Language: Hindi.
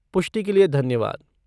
पुष्टि के लिए धन्यवाद।